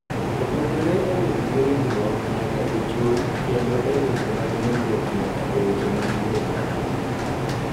Opogore e bedo gi ringruok nyaka e chuny kendo e weche mag nindruok nyaka e weche mag yudo mwandu.